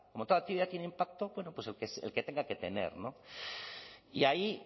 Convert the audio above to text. como toda actividad tiene impacto bueno pues el que tenga que tener y ahí